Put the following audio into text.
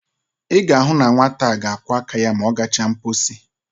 I ga-ahu na nwata a ga-akwo aka ya ma o gacha nposi.